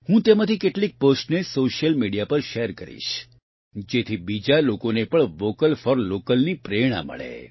હું તેમાંથી કેટલીક પોસ્ટને સોશિયલ મિડિયા પર શેર કરીશ જેથી બીજા લોકોને પણ વોકલ ફોર લોકલની પ્રેરણા મળે